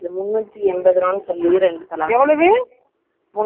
வெல்வெட்ல இல்ல online ல order போட்டு hyundai போட்டு cover .